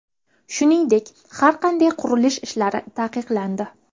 Shuningdek, har qanday qurilish ishlari taqiqlandi.